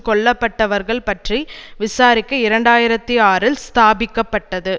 கொல்ல பட்டவர்கள் பற்றி விசாரிக்க இரண்டு ஆயிரத்தி ஆறில் ஸ்தாபிக்க பட்டது